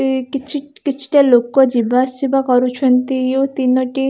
ଏହି କିଛି କିଛିଟା ଲୋକ ଯିବାଆସିବା କରୁଛିନ୍ତି ଏହି ତିନୋଟି --